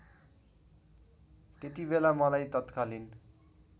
त्यतिबेला मलाई तत्कालीन